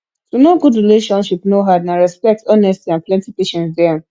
to know good relationship no hard na respect honesty and plenty patience dey am